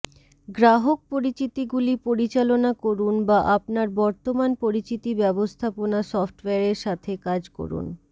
গ্রাহক পরিচিতিগুলি পরিচালনা করুন বা আপনার বর্তমান পরিচিতি ব্যবস্থাপনা সফ্টওয়্যারের সাথে কাজ করুন